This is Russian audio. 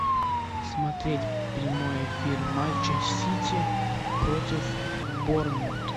смотреть прямой эфир матча сити против борнмут